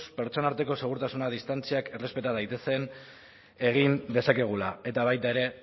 pertsona arteko segurtasun distantziak errespeta daitezen egin dezakegula eta baita ere